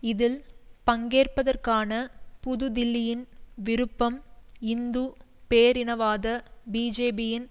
இதில் பங்கேற்பதற்கான புதுதில்லியின் விருப்பம் இந்து பேரினவாத பிஜேபியின்